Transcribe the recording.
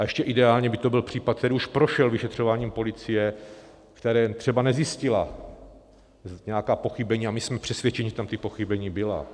A ještě ideálně by to byl případ, který už prošel vyšetřováním policie, která třeba nezjistila nějaká pochybení, a my jsme přesvědčeni, že tam ta pochybení byla.